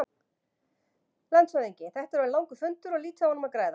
LANDSHÖFÐINGI: Þetta er orðinn langur fundur og lítið á honum að græða.